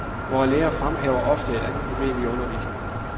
Vore lærere fremhæver ofte et andet problem i undervisningen.